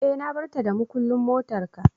eh na batar da mukullin motar ka.